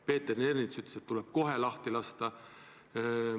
Peeter Ernits ütles, et nad tuleb kohe lahti lasta.